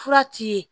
Fura ti ye